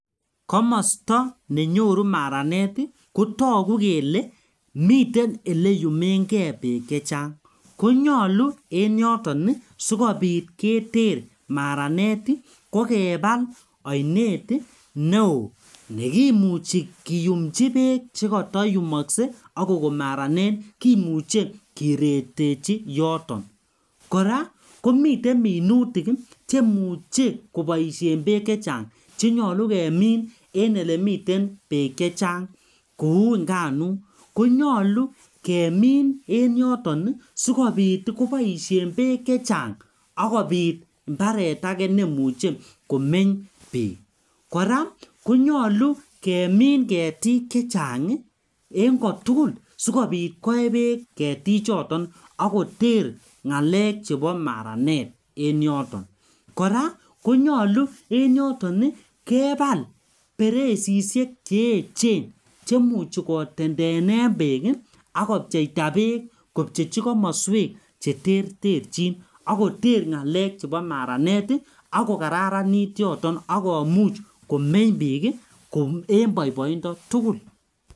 Komosto nenyoru maranet ii kotogu kele miten eleyumengee beek chechang konyolu en yoton sikobit keter maranet ii kokebal oinet neo nekimuchi kiyumchi beek chekotoyumokse akokon maranet kimuche kiretechi yoton, koraa komiten minutik cheimuche koboisien beek chechang chenyolu kemin en elemiten beek chechang kou nganuk konyolu kemin en yoton ii sikobit koboishen beek chechang akobit imbaret ake neimuche komeny bik, koraa konyolu kemin ketik chechang ii en kotugul sikobit koe beek ketichoton ak koter ngalek chebo maranet en yoton, koraa konyolu en yoton kebal bereisishek cheechen chemuchi kotendenen beek ii ak kopcheita beek kopchechi komoswek cheterterjin ak koter ngalek chebo maranet ii ak kokararanit yoton ak komuch komeny bik en boiboindotugul.